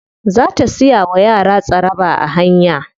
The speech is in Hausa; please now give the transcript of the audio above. Za ta siya wa yara tsaraba a hanya.